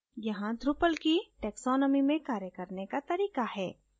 यहाँ drupals की taxonomy में कार्य करने का तरीका है